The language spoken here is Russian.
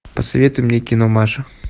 посоветуй мне кино маша